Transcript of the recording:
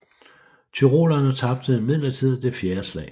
Tyrolerne tabte imidlertid det fjerde slag